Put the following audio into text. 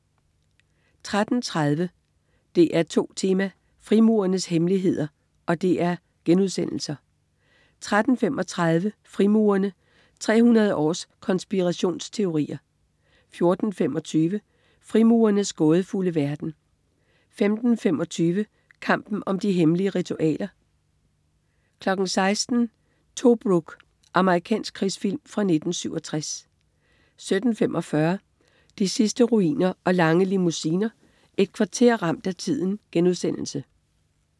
13.30 DR2 Tema: Frimurernes hemmeligheder* 13.35 Frimurerne: 300 års konspirationsteorier* 14.25 Frimurernes gådefulde verden* 15.25 Kampen om de hemmelige ritualer* 16.00 Tobruk. Amerikansk krigsfilm fra 1967 17.45 De sidste ruiner og lange limousiner. Et kvarter ramt af tiden*